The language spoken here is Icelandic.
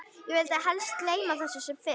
Ég vil helst gleyma þessu sem fyrst.